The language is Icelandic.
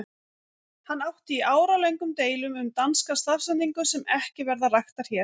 Hann átti í áralöngum deilum um danska stafsetningu sem ekki verða raktar hér.